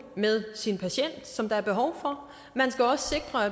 med sin patient som der er behov for